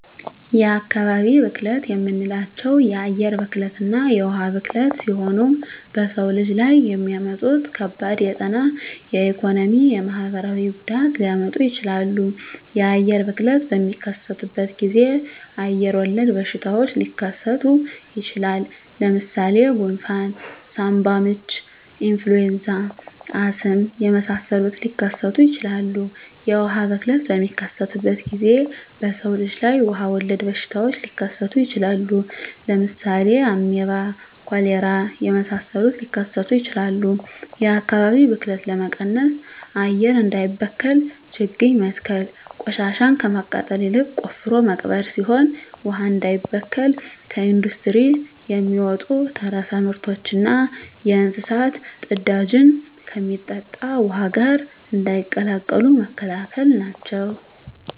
የአካባቢ ብክለት የምንላቸው የአየር ብክለትና የውሀ ብክለት ሲሆኑ በሰው ልጅ ላይ የሚያመጡት ከባድ የጤና የኢኮኖሚ የማህበራዊ ጉዳት ሊያመጡ ይችላሉ። የአየር ብክለት በሚከሰትበት ጊዜ አየር ወለድ በሽታዎች ሊከሰቱ ይችላል። ለምሳሌ ጉንፍን ሳምባምች ኢንፍሉዌንዛ አስም የመሳሰሉትን ሊከሰቱ ይችላሉ። የውሀ ብክለት በሚከሰትበት ጊዜ በሰው ልጅ ላይ ውሀ ወለድ በሽታዎች ሊከሰቱ ይችላሉ። ለምሳሌ አሜባ ኮሌራ የመሳሰሉት ሊከሰቱ ይችላሉ። የአካባቢ ብክለት ለመቀነስ አየር እንዳይበከል ችግኝ መትከል ቆሻሻን ከማቃጠል ይልቅ ቆፍሮ መቅበር ሲሆን ውሀ እንዳይበከል ከኢንዱስትሪ የሚወጡ ተረፈ ምርቶችና የእንስሳት ፅዳጅን ከሚጠጣ ውሀ ጋር እንዳይቀላቀሉ መከላከል ናቸው።